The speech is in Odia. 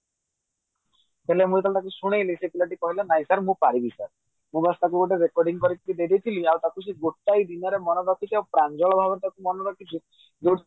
ହେଲେ ମୁଁ ଯେତେବେଳେ ତାକୁ ଶୁଣେଇଲି ସେ ପିଲାଟି କହିଲା ନାଇଁ sir ମୁଁ ପାରିବି sir ମୁଁ ବାସ ଟାକୁ recording କରିକି ଦେଇ ଦେଇଥିଲି ଆଉ ଟାକୁ ସେ ଗୋଟିଏ ଦିନରେ ମାନେ ରଖିଛି ଆଉ ପ୍ରାଞ୍ଜଳ ଭାବରେ ଟାକୁ ମାନେ ରଖିଛି